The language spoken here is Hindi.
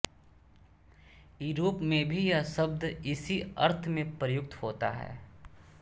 यूरोप में भी यह शब्द इसी अर्थ में प्रयुक्त होता है